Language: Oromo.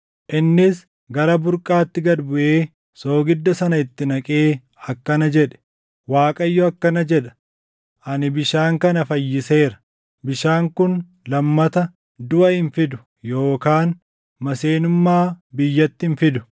Innis gara burqaatti gad buʼee, soogidda sana itti naqee akkana jedhe; “ Waaqayyo akkana jedha; ‘Ani bishaan kana fayyiseera. Bishaan kun lammata duʼa hin fidu yookaan maseenummaa biyyatti hin fidu.’ ”